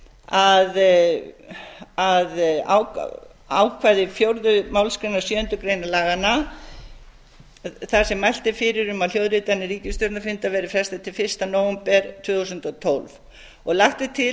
ég tala nú fyrir að ákvæði fjórðu málsgrein sjöundu grein laganna þar sem mælt er fyrir um að hljóðritunum ríkisstjórnarfunda verði frestað til fyrsta nóvember tvö þúsund og tólf og lagt er til